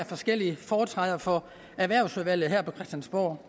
forskellige i foretræde for erhvervsudvalget her på christiansborg